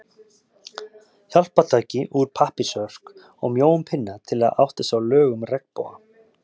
Hjálpartæki úr pappírsörk og mjóum pinna, til að átta sig á lögun regnboga.